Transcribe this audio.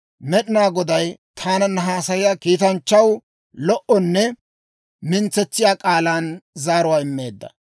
Med'inaa Goday taananna haasayiyaa kiitanchchaw lo"onne mintsetsiyaa k'aalan zaaruwaa immeedda.